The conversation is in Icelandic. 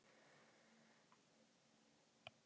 Hafið eftirfarandi spurningar í huga